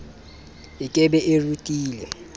e ke be e rutile